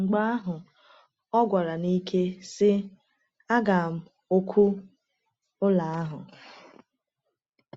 Mgbe ahụ ọ gwara n’ike, sị: “Aga m ọkụ ụlọ ahụ!”